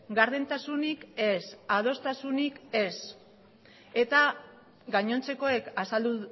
gardentasunik ez adostasunik ez eta gainontzekoek azaldu